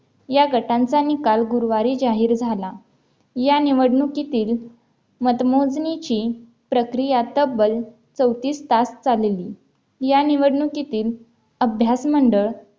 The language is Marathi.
या गटांचा निकाल गुरुवारी जाहीर झाला या निवडणुकीतील मतमोजणीची प्रक्रिया तब्बल चौतीस तास चालली या निवडणुकीतील अभ्यास मंडळ